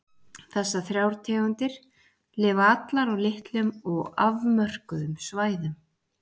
Þessar þrjár tegundir lifa allar á litlum og afmörkuðum svæðum.